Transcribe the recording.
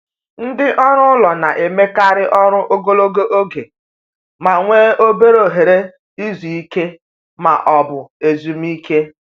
Ndị ọrụ ụlọ na-emekarị ọrụ ogologo oge ma nwee obere ohere izu ike ma ọ bụ ezumike.